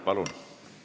Palun!